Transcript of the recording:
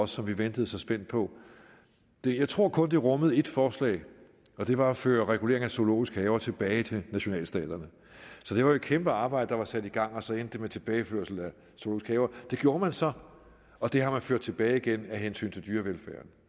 som vi ventede så spændt på jeg tror kun det rummede ét forslag og det var at føre reguleringen af zoologiske haver tilbage til nationalstaterne så det var jo et kæmpe arbejde der var sat i gang og så endte det med tilbageførsel af zoologiske haver det gjorde man så og det har man ført tilbage igen af hensyn til dyrevelfærden